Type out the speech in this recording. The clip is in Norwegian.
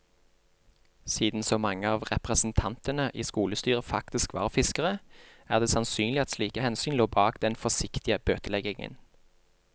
Siden så mange av representantene i skolestyret faktisk var fiskere, er det sannsynlig at slike hensyn lå bak den forsiktige bøteleggingen.